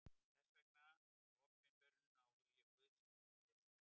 Þess vegna er opinberunin á vilja Guðs í hendi Jesú.